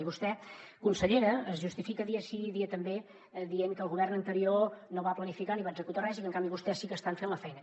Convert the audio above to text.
i vostè consellera es justifica dia sí i dia també dient que el govern anterior no va planificar ni va executar res i que en canvi vostès sí que estan fent la feina